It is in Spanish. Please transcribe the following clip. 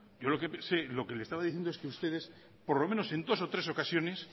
yo lo que sé lo que le estaba diciendo es que ustedes por lo menos en dos o tres ocasiones